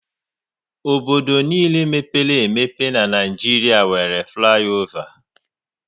Obodo niile mepere emepe n'Naijiria nwéré fliova